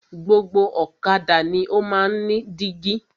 Gbogbo ọ̀kadà ni o máa ń ní dígí.